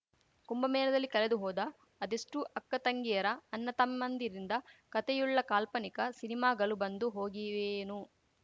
ಕುಂಭಮೇಲದಲ್ಲಿ ಕಲೆದು ಹೋದ ಅದೆಷ್ಟುಅಕ್ಕತಂಗಿಯರ ಅಣ್ಣತಮ್ಮಂದಿರ ಕಥೆಯುಳ್ಳ ಕಾಲ್ಪನಿಕ ಸಿನಿಮಾಗಲು ಬಂದು ಹೋಗಿವೆಯೋ ಏನೋ